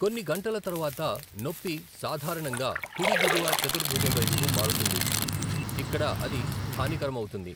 కొన్ని గంటల తర్వాత, నొప్పి సాధారణంగా కుడి దిగువ చతుర్భుజం వైపుకు మారుతుంది, ఇక్కడ అది స్థానికరమమౌతుంది.